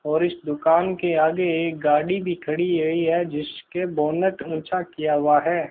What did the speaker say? और इस दुकान के आगे एक गाड़ी भी खड़ी हई है जिसके बोनट ऊंचा किया हुआ है।